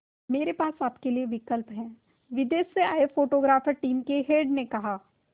मेरे पास आपके लिए विकल्प है विदेश से आए फोटोग्राफर टीम के हेड ने कहा